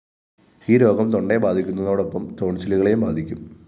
ഈ രോഗം തൊണ്ടയെ ബാധിക്കുന്നതോടൊപ്പം ടോണ്‍സിലുകളെയും ബാധിക്കും